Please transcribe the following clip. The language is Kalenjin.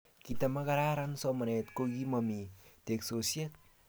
Kitamakararan somanet ko kimomi teksosiet